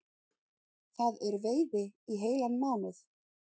Það er veiði í heilan mánuð